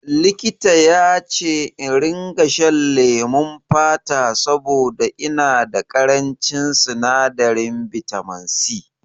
Likita yace in ringa shan lemon fata saboda ina da ƙarancin sinadarin bitaminsi